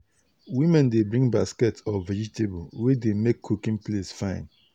women dey bring basket of vegetable wey dey make cooking place fine.